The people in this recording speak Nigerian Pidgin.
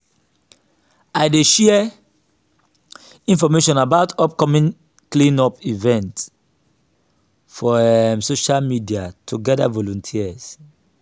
i dey share information about upcoming clean-up events for um social media to gather volunteers.